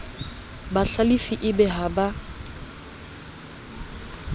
bahlalifi e be ha ba